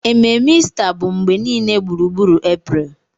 Ememe Ista bụ mgbe niile gburugburu April